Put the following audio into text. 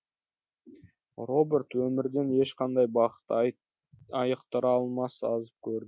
роберт өмірден ешқандай бақыт айықтыра алмас азап көрді